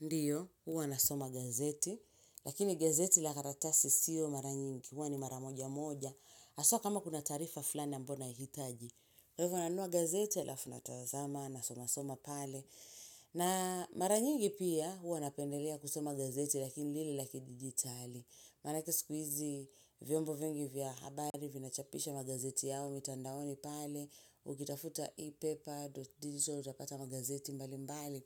Ndiyo, huwa nasoma gazeti lakini gazeti la karatasi siyo mara nyingi, huwa ni mara moja moja haswa kama kuna taarifa fulani ambayo nahitaji. Kwa hivyo nanunua gazeti halafu natazama nasomasoma pale. Na mara nyingi pia huwa napendelea kusoma gazeti lakini lile la kidijitali. Manake siku hizi vyombo vingi vya habari vinachapisha magazeti yao mitandaoni pale. Ukitafuta e-paper dot digital utapata magazeti mbali mbali.